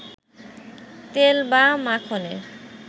তেল বা মাখনে